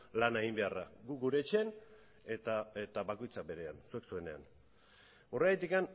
lana egin beharra gu gure etxean eta bakoitza berean zuek zuenean horregatik